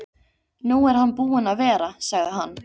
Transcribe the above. Nú er hann búinn að vera, sagði hann.